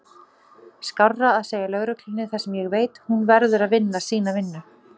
Skárra að segja lögreglunni það sem ég veit, hún verður að vinna sína vinnu.